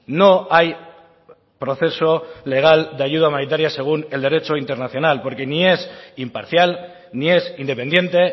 no hay proceso legal de ayuda humanitaria según el derecho internacional porque ni es imparcial ni es independiente